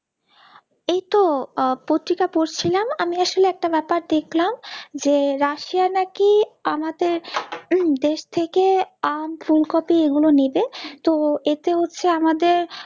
এইতো আহ পত্রিকা পড়ছিলাম আমি আসলে একটা ব্যাপার দেখলাম যে রাশিয়া নাকি আমাদের উম দেশ থেকে আম ফুলকপি এগুলো নিবে তো এতে হচ্ছে আমাদের